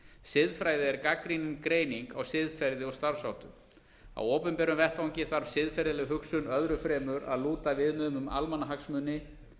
siðfræði er gagnrýnin greining á siðferði og starfsháttum á opinberum vettvangi þarf siðferðileg hugsun öðru fremur að lúta viðmiðum um almannahagsmuni